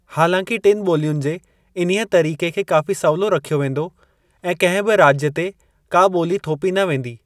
हालांकि टिनि ॿोलियुनि जे इन्हीअ तरीके खे काफ़ी सवलो रखियो वेंदो ऐं कहिं बि राज्य ते का बोली थोपी न वेंदी।